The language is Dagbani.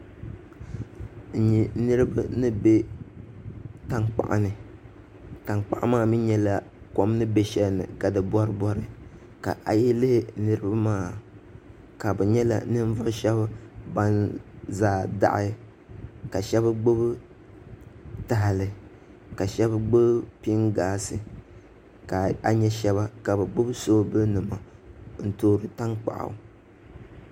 N nyɛ niraba ni bɛ tankpaɣu ni tankpaɣu maa mii nyɛla kom ni bɛ shɛli ka di boribori ka ayi lihi niraba maa ka bi nyɛla ninvuɣu shab ban zaa daɣi ka shab gbubi tahali ka shab gbubi pingaasi ka a nyɛ shaba ka bi gbubi soobuli nima n toori tankpaɣu